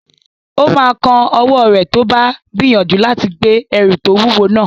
Ó máa kán ọwọ́ rẹ̀ tó bá gbìyànjú láti gbé ẹrù tó wúwo náà